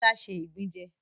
Bọ́lá ṣé ìgbín jẹ